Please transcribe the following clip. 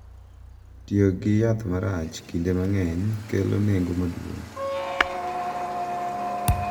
Tiyo gi yath marach kinde mang’eny kelo nengo maduong’,